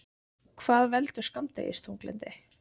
Hvað veldur skammdegisþunglyndi?